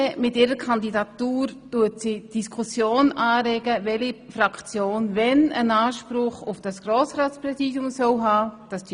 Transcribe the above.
Mit ihrer Kandidatur regt die glp die Diskussion an, welche Fraktion wann einen Anspruch auf das Grossratspräsidium haben soll.